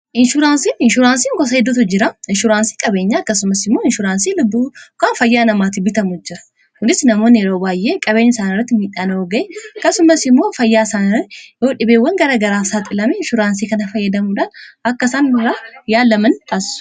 inshuraansiin gosa heddutu jira. inshuuraansii qabeenya akkasumas immoo inshuraansii lubbuu yookaan fayyaa namaati bitamuu jira. kunii namoonni yeroo waay'ee qabeenya isaan irratti miidhaan oo ga'e akkasumas immoo fayyaa isaanira yoo dhibeewwan gara garaasaaxilame inshuraansii kana fayyadamuudaan akka isaan irraa yaalaman taasisa.